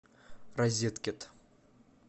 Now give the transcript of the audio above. розеткед